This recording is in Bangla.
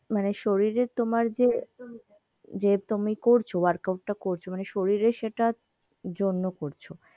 মানে শরীরে তোমার যে যে তুমি করছো workout টা করছ মানে শরীরে সেইটা জন্যে করছো।